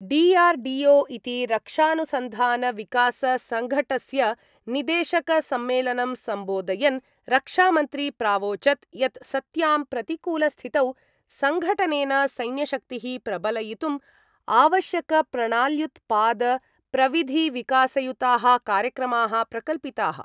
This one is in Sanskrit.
डि आर् डि ओ इति रक्षानुसन्धानविकाससङ्घटस्य निदेशकसम्मेलनं सम्बोधयन् रक्षामन्त्री प्रावोचद् यत् सत्यां प्रतिकूलस्थितौ सङ्घटनेन सैन्यशक्तिः प्रबलयितुम् आवश्यकप्रणाल्युत्पादप्रविधिविकासयुताः कार्यक्रमाः प्रकल्पिताः।